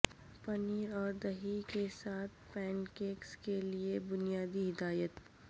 پنیر اور دہی کے ساتھ پینکیکس کے لئے بنیادی ہدایت